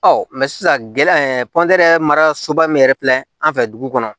Ɔ sisan gɛlɛya in mara soba min yɛrɛ filɛ an fɛ dugu kɔnɔ